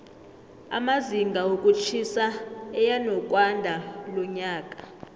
amazinga wokutjhisa eyanokwandalonyaka